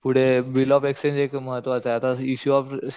पुढे bill of exchange एक महत्वाचं आता इशू ऑफ